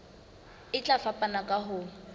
e tla fapana ka ho